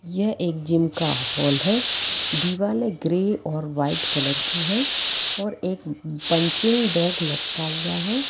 ये एक जिम का हाल हैं दिवाले ग्रे और व्हाइट कलर की हैं और एक पंचिंग बैग लटका हुआ है।